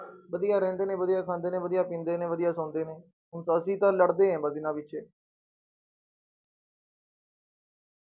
ਵਧੀਆ ਰਹਿੰਦੇ ਨੇ, ਵਧੀਆ ਖਾਂਦੇ ਨੇ, ਵਧੀਆ ਪੀਂਦੇ ਨੇ, ਵਧੀਆ ਸੋਂਦੇ ਨੇ, ਹੁਣ ਅਸੀਂ ਤਾਂ ਲੜਦੇ ਹਾਂ ਬਸ ਇਹਨਾਂ ਪਿੱਛੇ।